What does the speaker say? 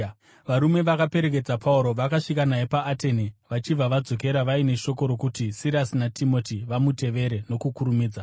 Varume vakaperekedza Pauro, vakasvika naye paAtene vachibva vadzokera vaine shoko rokuti Sirasi naTimoti vamutevere nokukurumidza.